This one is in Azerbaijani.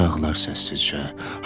Gecələr ağlar səssizcə.